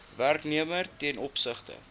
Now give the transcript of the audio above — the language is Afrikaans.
werknemer ten opsigte